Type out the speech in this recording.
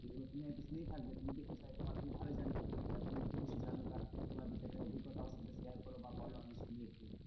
এগুলো তুমি হয়তো শুনেই থাকবে তুমি দেখেছো হয়তো আমার থেকে ভালোই জানবে তা তুমি যদি কিছু জানো বা তোমার দুচারটে অভিজ্ঞতা আমার সাথে share করো বা বোলো আমি শুনি একটু।